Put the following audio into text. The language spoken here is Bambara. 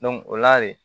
o la de